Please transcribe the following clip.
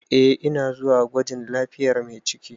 Eh ina zuwa gwajin lafiyar mai ciki.